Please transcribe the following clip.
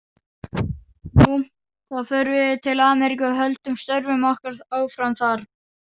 Nú, þá förum við til Ameríku og höldum störfum okkar áfram þar